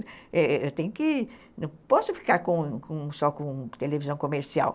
Eu tenho que... Não posso ficar só com televisão comercial.